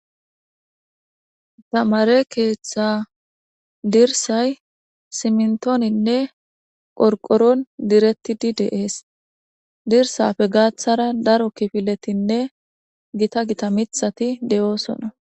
tamare keeththa dirsay simntooninne qorqoron direttidi deees dirsafe gaaththara daro kifiletinne gita gita mithati de7oosona